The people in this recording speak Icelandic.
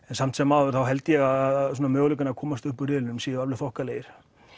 en samt sem áður held ég að möguleikar að komast uppúr riðlinum séu alveg þokkalegir